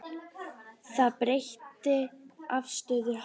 Það breytti afstöðu hans.